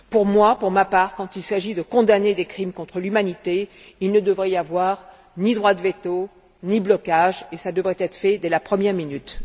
Pour ma part, quand il s'agit de condamner des crimes contre l'humanité, il ne devrait y avoir ni droit de veto, ni blocage, et cela devrait être fait dès la première minute.